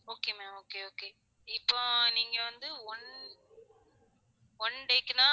Okay ma'am okay okay இப்ப நீங்க வந்து one oneday க்குனா